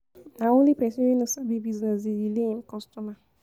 Na only pesin wey no sabi business dey delay im customer.